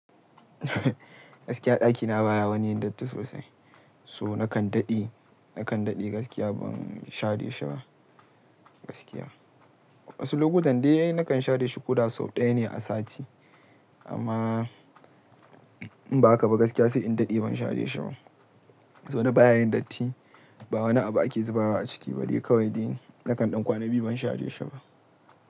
Gaskiya ɗakina baya woni yin dotti sosai. So nakan daɗe, nakan daɗe gaskiya ban share shi ba. Gaskiya. Wasu lokutan dai nakan share shi koda sau ɗaya ne a sati. Amma in ba haka ba gaskiya sai in daɗe ban share shi ba. To baya yin datti, ba wani abu ake zuba wa a ciki ba dai kawai dai nakan ɗankwana biyu ban share shi ba.